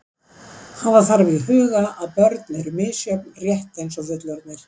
Hafa þarf í huga að börn eru misjöfn rétt eins og fullorðnir.